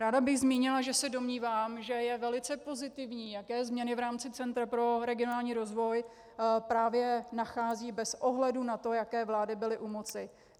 Ráda bych zmínila, že se domnívám, že je velice pozitivní, jaké změny v rámci Centra pro regionální rozvoj právě nachází bez ohledu na to, jaké vlády byly u moci.